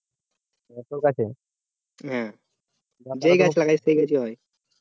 যেই গাছ লাগায় সেই গাছ হয়